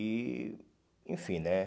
E, enfim, né?